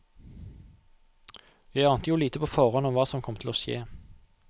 Jeg ante jo lite på forhånd om hva som kom til å skje.